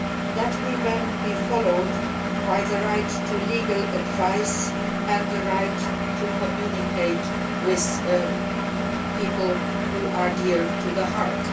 That will then be followed by the right to legal advice and the right to communicate with people who are dear to the heart.